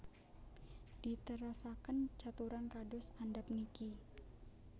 Diterasaken caturan kados andhap niki